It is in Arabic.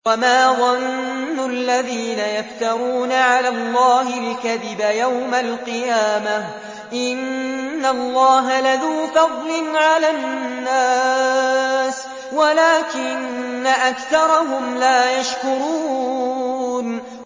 وَمَا ظَنُّ الَّذِينَ يَفْتَرُونَ عَلَى اللَّهِ الْكَذِبَ يَوْمَ الْقِيَامَةِ ۗ إِنَّ اللَّهَ لَذُو فَضْلٍ عَلَى النَّاسِ وَلَٰكِنَّ أَكْثَرَهُمْ لَا يَشْكُرُونَ